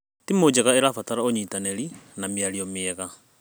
Timu njega ĩrabatara ũnyitanĩri na mĩario mĩega.